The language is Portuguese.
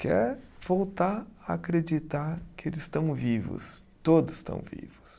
quer voltar a acreditar que eles estão vivos, todos estão vivos.